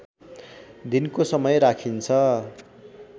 दिनको समय राखिन्छ